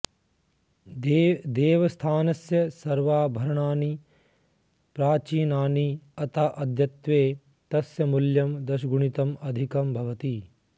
देवस्थानस्य सर्वाभरणानि प्राचीनानि अतः अद्यत्वे तस्य मूल्यं दशगुणितं अधिकं भवति